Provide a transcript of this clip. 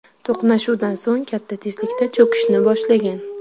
To‘qnashuvdan so‘ng katta tezlikda cho‘kishni boshlagan.